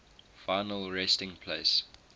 final resting place